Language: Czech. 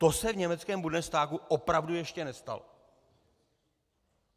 To se v německém Bundestagu opravdu ještě nestalo.